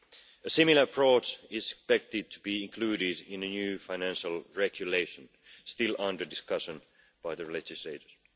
A similar approach is expected to be included in a new Financial Regulation still under discussion by the legislators.